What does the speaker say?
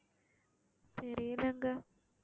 தெரியலைங்க